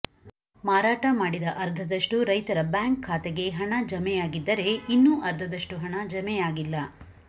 ಮಾರಾಟ ಮಾಡಿದ ಅರ್ಧದಷ್ಟು ರೈತರ ಬ್ಯಾಂಕ್ ಖಾತೆಗೆ ಹಣ ಜಮೆಯಾಗಿದ್ದರೇ ಇನ್ನೂ ಅರ್ಧದಷ್ಟು ಹಣ ಜಮೆಯಾಗಿಲ್ಲ